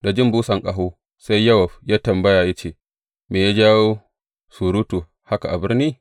Da jin busan ƙaho, sai Yowab ya yi tambaya, ya ce, Me ya jawo surutu haka a birni?